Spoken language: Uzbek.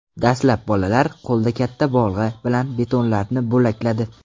Dastlab bolalar qo‘lda katta bolg‘a bilan betonlarni bo‘lakladi.